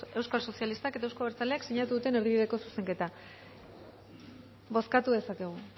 euskal sozialistak eta euzko abertzaleak sinatu duten erdibideko zuzenketa bozkatu dezakegu